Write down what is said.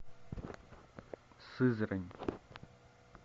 сызрань